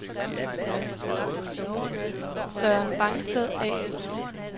Søren Vangsted A/S